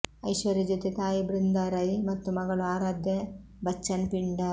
ಐಶ್ವರ್ಯ ಜೊತೆ ತಾಯಿ ಬೃಂದಾ ರೈ ಮತ್ತು ಮಗಳು ಆರಾಧ್ಯ ಬಚ್ಚನ್ ಪಿಂಡ